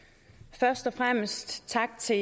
først og fremmest tak til